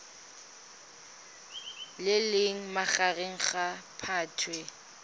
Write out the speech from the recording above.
le leng magareng ga phatwe